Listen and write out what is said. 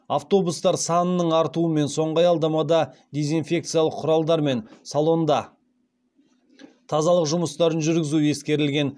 автобустар санының артуымен соңғы аялдамада дезинфекциялық құралдармен салонда тазалық жұмыстарын жүргізу ескерілген